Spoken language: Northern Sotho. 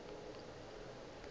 gobane o be a sa